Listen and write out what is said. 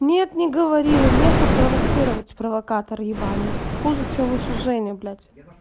нет не говорила не хуй провоцировать провокатор ебаный хуже чем ещё женя блять